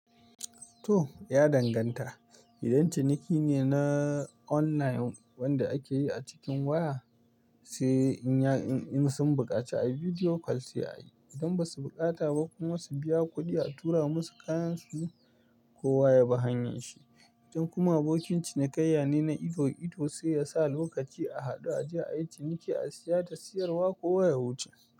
To ya danganta, idan ciniki ne na online wanda ake yi a cikin waya, sai in ya in sun buƙaci a video call sai a yi. Idan ba su bukata ba kuma su biya kuɗi a tura musu kayansu, kowa ya bi hanyarshi. Idan kuma abokin cinikayya ne na ido ido sai yasa lokaci a haɗu a je a yi ciniki a saya da siyarwa kowa ya wuce.